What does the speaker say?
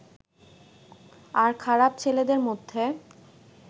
আর খারাপ ছেলেদের মধ্যে